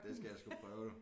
Det skal jeg sgu prøve du